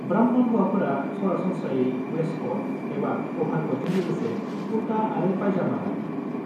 ब्राह्मण हौवाफोरा सरासनस्रायै वेस्टक'ट एबा अभारक'टजों लोगोसे कुर्ता आरो पाइजामा गानो।